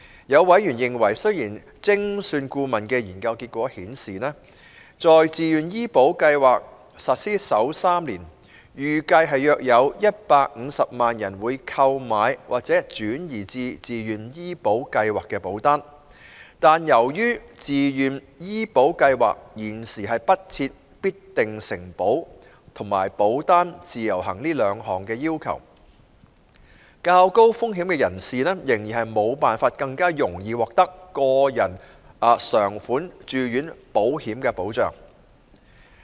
有委員認為，雖然精算顧問的研究結果顯示，在自願醫保計劃實施首3年，預計約有150萬人會購買或轉移至自願醫保計劃保單，但由於自願醫保計劃現時不設必定承保和保單"自由行"這兩項要求，較高風險人士仍然無法更容易獲得個人償款住院保險的保障。